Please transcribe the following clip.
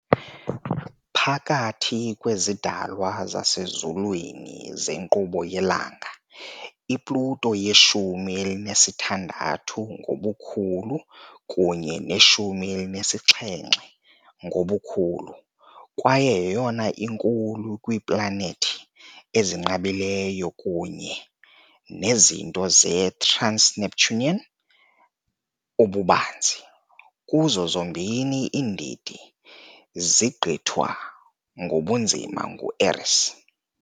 Phakathi kwezidalwa zasezulwini zenkqubo yelanga, i-Pluto yeshumi elinesithandathu ngobukhulu kunye neshumi elinesixhenxe ngobukhulu, kwaye yeyona inkulu kwiiplanethi ezinqabileyo kunye nezinto ze-trans-Neptunian ububanzi kuzo zombini iindidi zigqithwa ngobunzima ngu-Eris.